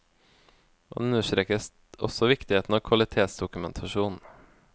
Han understreket også viktigheten av kvalitetsdokumentasjon.